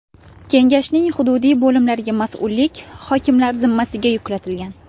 Kengashning hududiy bo‘limlariga mas’ullik hokimlar zimmasiga yuklatilgan.